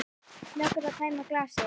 Snöggur að tæma glasið.